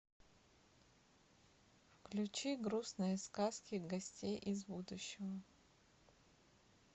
включи грустные сказки гостей из будущего